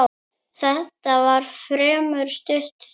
Þetta var fremur stutt þing.